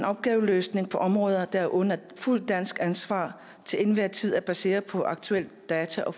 opgaveløsning på områder der er under fuldt dansk ansvar til enhver tid er baseret på aktuelle data og